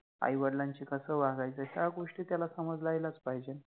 आई वडिलांशि कस वागायच ह्या गोष्टी त्याला समजायलाच पाहिजे